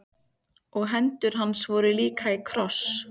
Og hendur hans voru líka í kross.